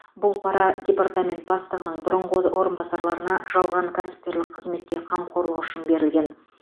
бұл пара департамент бастығының бұрынғы орынбасарына жалған кәсіпкерлік қызметке қамқорлығы үшін берілген